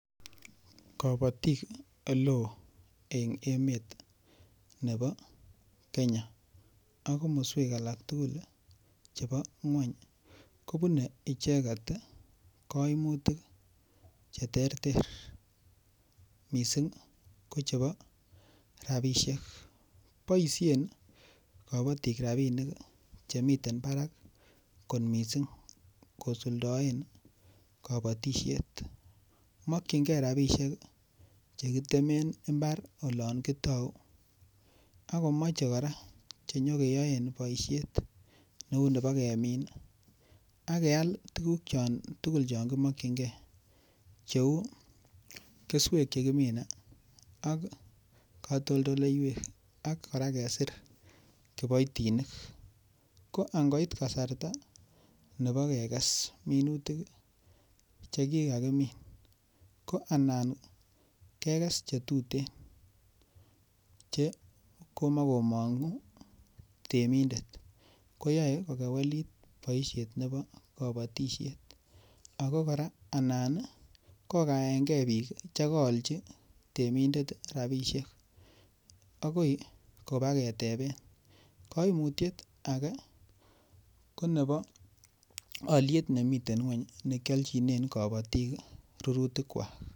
Kobatik ole oo eng' emet nebo Kenya ak komoswek alak tugul chebo ng'weny kobunei icheget kaimutik cheterter mising' ko chebo rabishek boishen kabotik rabinik chemiten barak kot mising' kosuldoen kabotishet mokchingei rabishek chekitemen mbar olon kotou akomochei kora chenyikeyoen boishet neu nebo kemin ak keal tukuk chon tugul chon kimokchingei cheu keswek chekimine ak katoldoleiwek ak kora kesir kiboitinik ko angoit kasarta nebo kekes minutik chekikakimin ko anan kekes chetutin che komakomong'u temindet ko yoe kokewelit boishet nebo kabatishet ako kora anan kokaeken biik chekaolchi temindet rabishek akoi kobaketeben kaimutyet age ko nebo oliet nemiten ng'weny nekioljinen kabotik rurutik kwak